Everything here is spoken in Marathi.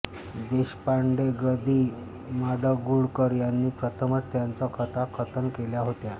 देशपांडे ग दि माडगूळकर यांनी प्रथमच त्यांच्या कथा कथन केल्या होत्या